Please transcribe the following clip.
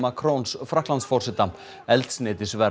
Macrons Frakklandsforseta eldsneytisverð